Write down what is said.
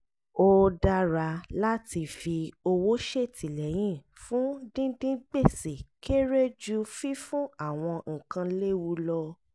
ó dára láti fi owó ṣètìlẹyìn fún dídín gbèsè kéré ju fífún à kan léwu lọ